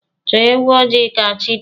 Chọọ ewu ojii ka chi dị!